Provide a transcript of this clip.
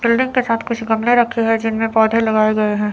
Building के साथ कुछ गमले रखे हैं जिनमें पौधे लगाए गए हैं।